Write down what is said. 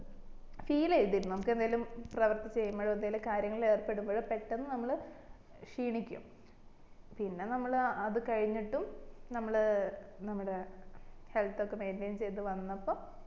feel ചെയ്തിരുന്നു നമ്മക്ക് എന്തേലും പ്രവർത്തി ചെയ്യിമ്പോഴുണ് ഏതേലും കാര്യങ്ങള് ഏർപ്പെടുമ്പോഴും പെട്ടന്ന് നമ്മള് ക്ഷീണിക്കും പിന്നെ നമ്മള് അത് കഴിഞ്ഞിട്ടുംനമ്മള് നമ്മളെ health ഒക്കെ maintain ചെയ്ത് വന്നപ്പം